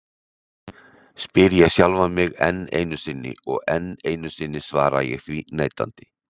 spyr ég sjálfan mig enn einu sinni, og enn einu sinni svara ég því neitandi.